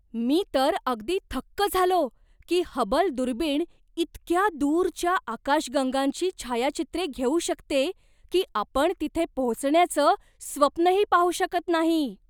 मी तर अगदी थक्क झालो की हबल दुर्बिण इतक्या दूरच्या आकाशगंगांची छायाचित्रे घेऊ शकते की आपण तिथे पोहोचण्याचं स्वप्नही पाहू शकत नाही!